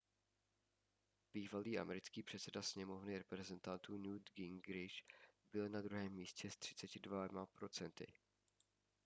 bývalý americký předseda sněmovny reprezentantů newt gingrich byl na druhém místě s 32 procenty